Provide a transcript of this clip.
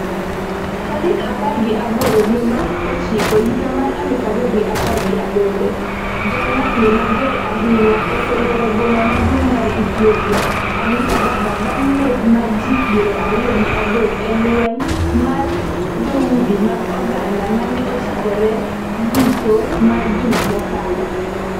tarik apar gi aboro dwe mar ochiko higa mar aluf ariyo gi apar gi aboro. Jong'anyo mager ahinya oseluoro boma maduong' mar Ethiopia, Addis Ababa bang' nek mar ji piero ariyo gi adek e lweny mar dhoudi mag oganda mane ochakore giko mar juma mokalo.